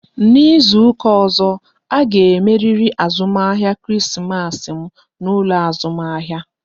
N'izuka ọzọ, a ga emeriri azụmahịa Krismas m n'ụlọ azụmahịa!